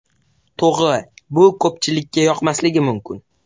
To‘g‘ri, bu ko‘pchilikka yoqmasligi mumkin.